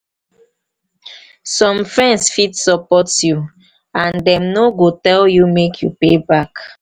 some some friends fit support you and dem no go tell you make you pay back